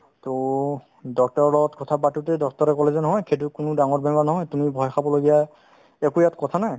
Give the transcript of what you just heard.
to doctor ৰৰ লগত কথা পাতোতে doctor ৰে ক'লে যে নহয় সেইটো কোনো ডাঙৰ বেমাৰ নহয় তুমি ভয় খাবলগীয়া একো ইয়াত কথা নাই